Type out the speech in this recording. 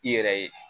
I yɛrɛ ye